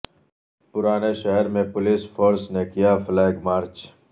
پرانے شہر میں پولیس فورس نے کیا فلیگ مارچ